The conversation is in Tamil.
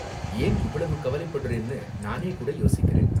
ஏன் இவ்வளவு கவலைப்படறேன்னு, நானே கூட யோசிக்கிறேன்.